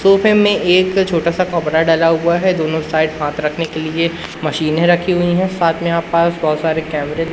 सोफे में एक छोटा सा कपड़ा डला हुआ है दोनों साइड हाथ रखने के लिए मशीने रखी हुई है साथ में यहां पास बहुत सारे कैमरे --